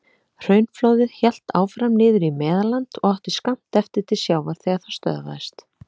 Hraunflóðið hélt áfram niður í Meðalland og átti skammt eftir til sjávar þegar það stöðvaðist.